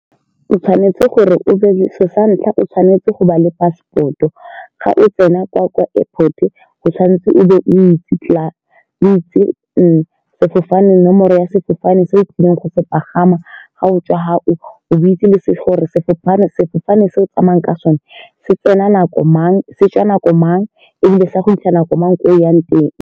O tshwanetse gore o be santlha o tshwanetse go ba le passport-o ga o tsena kwa airport-o tshwanetse o be o itse tlaar itse sefofane nomoro ya fofane se o tlileng go se pagama ga o tswa fa o itse gore sefofane se o tsamayang ka sone se tsena nako mang se tswa nako mang e bile se go fitlha nako mang ko o yang teng.